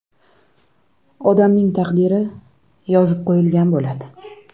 Odamning taqdiri yozib qo‘yilgan bo‘ladi.